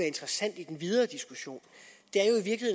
interessant i den videre diskussion